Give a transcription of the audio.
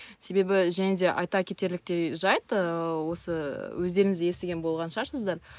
себебі және де айта кетерліктей жәйт ы осы өздеріңіз естіген болған шығарсыздар